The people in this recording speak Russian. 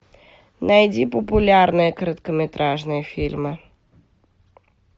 найди популярные короткометражные фильмы